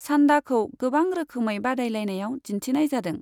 सान्डाखौ गोबां रोखोमै बादायलायनायाव दिन्थिनाय जादों।